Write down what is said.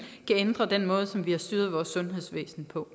kan ændre den måde som vi har styret vores sundhedsvæsen på